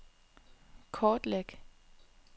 kortlæg